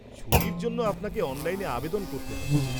-ছুটির জন্য আপনাকে অনলাইনে আবেদন করতে হবে।